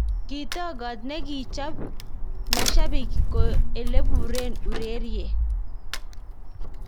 Kitokot ne kichap mashabik ko elepuren ureriet.